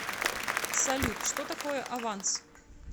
салют что такое аванс